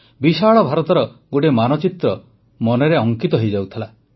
ବିଶାଳ ଭାରତର ଗୋଟିଏ ମାନଚିତ୍ର ମନରେ ଅଙ୍କିତ ହୋଇଯାଉଥିଲା